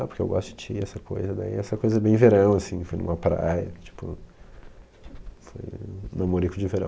Ah, porque eu gosto de ti, essa coisa, daí essa coisa bem verão, assim, foi numa praia, tipo... Foi um namorico de verão.